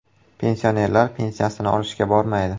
Pensionerlar pensiyasini olishga bormaydi.